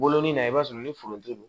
Wolon na i b'a sɔrɔ ni foronto don